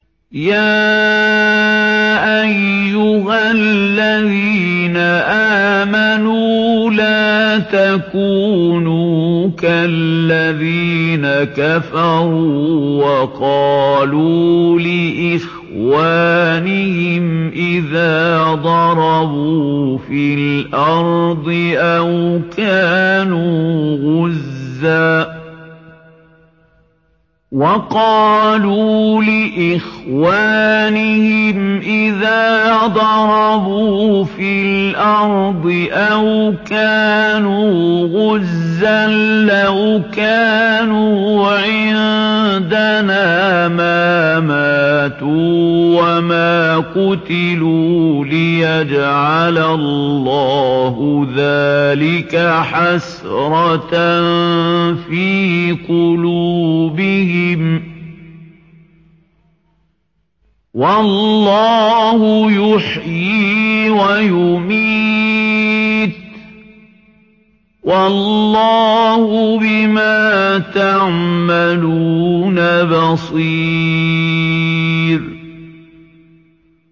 يَا أَيُّهَا الَّذِينَ آمَنُوا لَا تَكُونُوا كَالَّذِينَ كَفَرُوا وَقَالُوا لِإِخْوَانِهِمْ إِذَا ضَرَبُوا فِي الْأَرْضِ أَوْ كَانُوا غُزًّى لَّوْ كَانُوا عِندَنَا مَا مَاتُوا وَمَا قُتِلُوا لِيَجْعَلَ اللَّهُ ذَٰلِكَ حَسْرَةً فِي قُلُوبِهِمْ ۗ وَاللَّهُ يُحْيِي وَيُمِيتُ ۗ وَاللَّهُ بِمَا تَعْمَلُونَ بَصِيرٌ